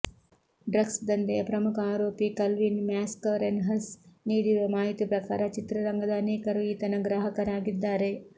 drugs ದಂಧೆಯ ಪ್ರಮುಖ ಆರೋಪಿ ಕಲ್ವಿನ್ ಮ್ಯಾಸ್ಕರೆನ್ಹಸ್ ನೀಡಿರುವ ಮಾಹಿತಿ ಪ್ರಕಾರ ಚಿತ್ರರಂಗದ ಅನೇಕರು ಈತನ ಗ್ರಾಹಕರಾಗಿದ್ದಾರೆ